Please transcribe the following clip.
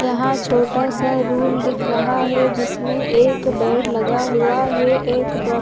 यहाँ छोटा सा रूम दिख रहा है जिसमे एक बेड लगा हुआ है एक डॉक् --